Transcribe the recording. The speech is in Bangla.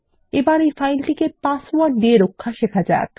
প্রথমে এই ফাইলটিকে পাসওয়ার্ড দিয়ে রক্ষা শেখা যাক